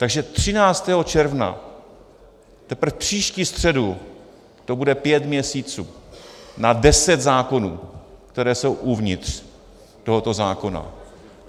Takže 13. června, teprve příští středu, to bude pět měsíců na deset zákonů, které jsou uvnitř tohoto zákona.